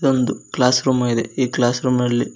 ಇದೊಂದು class room ಆಗಿದೆ ಈ ಕ್ಲಾಸ್ ರೂಮ್ ನಲ್ಲಿ--